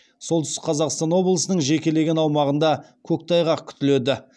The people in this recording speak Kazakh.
солтүстік қазақстан облысының жекелеген аумағында көктайғақ күтіледі